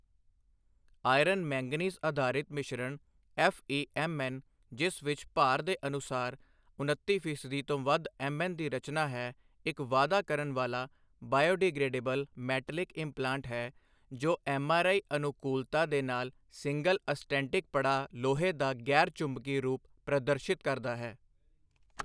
Iron manganese ਅਧਾਰਿਤ ਮਿਸ਼ਰਣ FE MN ਜਿਸ ਵਿੱਚ ਭਾਰ ਦੇ ਅਨੁਸਾਰ ਉਨੱਤੀ ਫ਼ੀਸਦੀ ਤੋਂ ਵੱਧ ਐੱਮਐੱਨ ਦੀ ਰਚਨਾ ਹੈ ਇੱਕ ਵਾਅਦਾ ਕਰਨ ਵਾਲਾ ਬਾਇਓਡੀਗ੍ਰੇਡੇਬਲ ਮੈਟਲਿਕ ਇੰਪਲਾਂਟ ਹੈ ਜੋ ਐੱਮਆਰਆਈ ਅਨੁਕੂਲਤਾ ਦੇ ਨਾਲ ਸਿੰਗਲ ਅਸਟੈਨਟਿਕ ਪੜਾਅ ਲੋਹੇ ਦਾ ਗ਼ੈਰ ਚੁੰਬਕੀ ਰੂਪ ਪ੍ਰਦਰਸ਼ਿਤ ਕਰਦਾ ਹੈ।